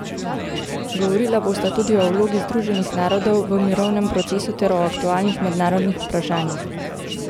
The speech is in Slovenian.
Govorila bosta tudi o vlogi Združenih narodov v mirovnem procesu ter o aktualnih mednarodnih vprašanjih.